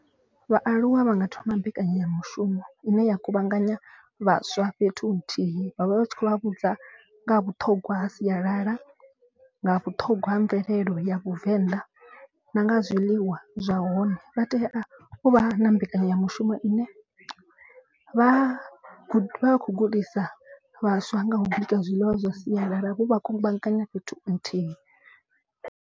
Vhaaluwa vha nga thoma mbekanyamushumo ine ya kuvhanganya vhaswa fhethu huthihi. Vha vha tshi khou vha vhudza nga ha sialala nga vhuṱhogwa ha mvelelo ya vhuvenḓa na nga zwiḽiwa zwa hone. Vha tea u vha na mbekanyamushumo ine vha kho gudisa vhaswa nga u bika zwiḽiwa zwa sialala vho vha kuvhanganya fhethu nthihi.